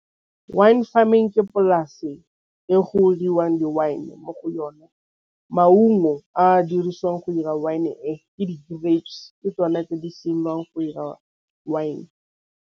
Wine farming ke polase e go dirwang di-wine mo go yona maungo a dirisiwang go dira wine e ke di-grapes ke tsone tse di siameng go dira wine.